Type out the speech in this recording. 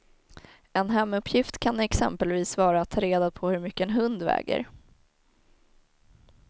En hemuppgift kan exempelvis vara att ta reda på hur mycket en hund väger.